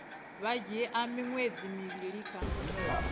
dzhia miṅwedzi mivhili uya kha